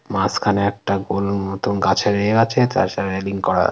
মাঝখানে একটা গরুর মতন গাছের এ আছে। তার সাথে রেলিং করা।